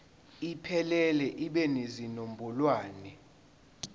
iphelele ibe nezinombolwana